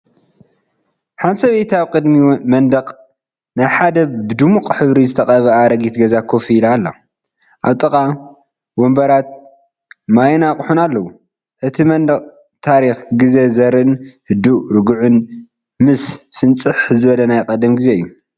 ሓንቲ ሰበይቲ ኣብ ቅድሚ መንደቕ ናይ ሓደ ብድሙቕ ሕብሪ ዝተቐብአ ኣረጊት ገዛ ኮፍ ኢላ ኣላ። ኣብ ጥቓኡ ወንበራት ማይን ኣቕሑን ኣለው። እቲ መንደቕ ታሪኽ ግዜ ዘርእን ህዱእን ርጉእን፡ ምስ ፍንፅሕ ዝበለ ናይ ቀደም ግዜ እዩ።